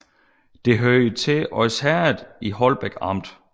Det hørte til Odsherred i Holbæk Amt